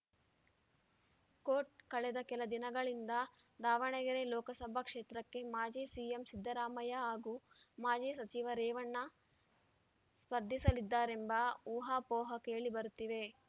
coat ಕಳೆದ ಕೆಲ ದಿನಗಳಿಂದ ದಾವಣಗೆರೆ ಲೋಕಸಭಾ ಕ್ಷೇತ್ರಕ್ಕೆ ಮಾಜಿ ಸಿಎಂ ಸಿದ್ಧರಾಮಯ್ಯ ಹಾಗೂ ಮಾಜಿ ಸಚಿವ ರೇವಣ್ಣ ಸ್ಪರ್ಧಿಸಲಿದ್ದಾರೆಂಬ ಊಹಾಪೋಹ ಕೇಳಿ ಬರುತ್ತಿವೆ